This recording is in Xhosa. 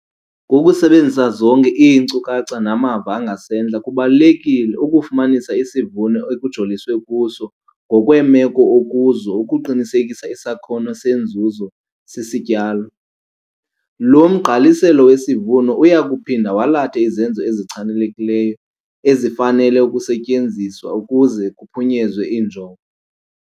Ngokusebenzisa zonke iinkcukacha namava angasentla kubalulekile ukufumanisa isivuno ekujoliswe kuso ngokweemeko okuzo ukuqinisekisa isakhono senzuzo sesityalo. Lo mgqaliselo wesivuno uya kuphinda walathe izenzo ezichanekileyo ezifanele ukusetyenziwa ukuze kuphunyezwe injongo.